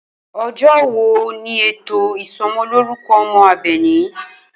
O̩jó̩ wo ni ètò ìso̩mo̩lórúko̩ o̩mo̩ Àbè̩ní?